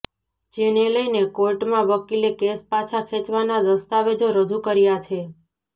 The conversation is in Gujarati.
જેને લઇને કોર્ટમાં વકીલે કેસ પાછા ખેંચવાના દસ્તાવેજો રજૂ કર્યાં છે